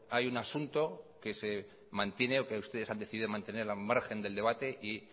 hay un asunto que se mantiene o que ustedes han decidido mantener al margen del debate y